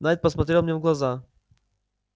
найд посмотрел мне в глаза